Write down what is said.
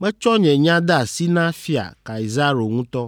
Metsɔ nye nya de asi na Fia Kaisaro ŋutɔ!”